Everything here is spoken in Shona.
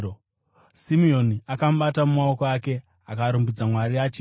Simeoni akamubata mumaoko ake akarumbidza Mwari achiti: